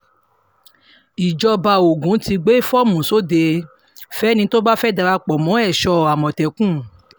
ìjọba ogun ti gbé fọ́ọ̀mù sóde fẹ́ni tó bá fẹ́ẹ́ darapọ̀ mọ́ èso um àmọ̀tẹ́kùn